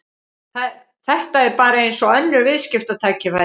Þetta er bara eins og önnur viðskiptatækifæri.